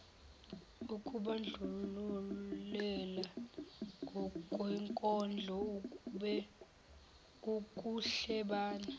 ukubandlulela ngokwenkolo ukuhlebana